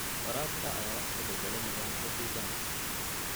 Waraabka ayaa wax ka beddela nidaamka deegaanka.